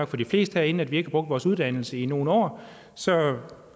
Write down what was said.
for de fleste herinde at vi ikke har brugt vores uddannelse i nogle år så